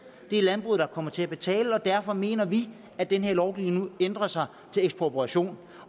det er landbruget der kommer til at betale derfor mener vi at den her lovgivning nu ændrer sig til ekspropriation